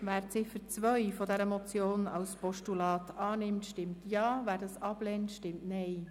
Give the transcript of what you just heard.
Wer die Ziffer 2 als Postulat annimmt, stimmt Ja, wer dies ablehnt, stimmt Nein.